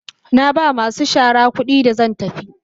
Na ba masu shara kudi da zan tafi.